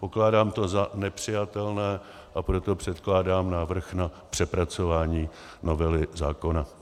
Pokládám to za nepřijatelné, a proto předkládám návrh na přepracování novely zákona.